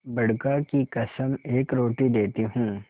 बड़का की कसम एक रोटी देती हूँ